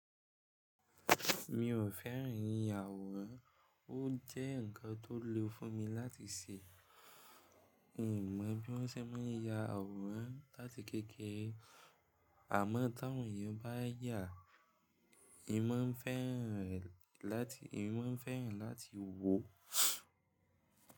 Mi ò fẹ́ràn ìyàwòrán, ó jẹ́ nǹkan tó le fún mi láti ṣe. N ò mọ bí wọ́n ṣe máa ń ya àwòrán láti kékeré àmọ́ t'àwọn ènìyàn bá yàá, èmi máa ń fẹ́ràn rẹ̀ láti ìǹ máa ń fẹ́ràn láti wò ó.